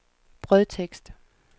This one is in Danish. brødtekst